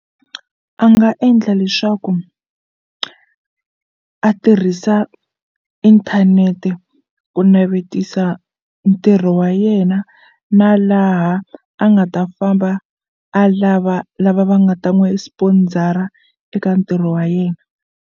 A nga endla leswaku a tirhisa inthanete ku navetisa ntirho wa yena na laha a nga ta famba a lava lava va nga ta n'wi sponsor-a eka ntirho wa yena.